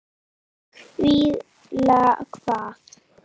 Hvíla hvað?